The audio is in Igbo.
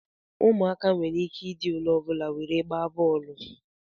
Ụmụaka nwere ike ịdị olee ọbụla were gbaa bọọlụ